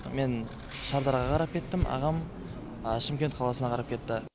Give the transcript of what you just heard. мен шардараға қарап кеттім ағам шымкент қаласына қарап кетті